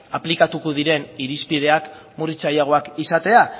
aplikatuko diren irizpideak murritzaileagoak izatea